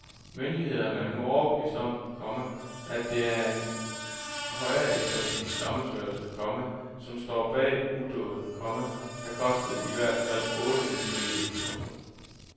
Myndighederne er nu overbeviste om, komma at det et en højreekstremistisk sammensværgelse, komma som står bag udåden, komma der kostede i hvert fald otte mennesker livet. punktum